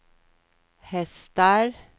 hästar